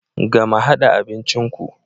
Gama hada abincin ku.